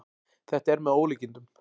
Þetta er með ólíkindum